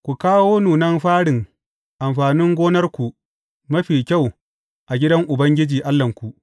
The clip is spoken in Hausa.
Ku kawo nunan farin amfanin gonarku mafi kyau a gidan Ubangiji, Allahnku.